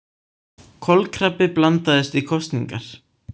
Kolkrabbi blandast í kosningar